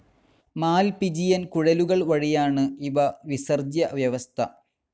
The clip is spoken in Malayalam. മാൽപിജിയൻ കുഴലുകൾ വഴിയാണ് ഇവ വിസർജ്ജ്യ വ്യവസ്ഥ.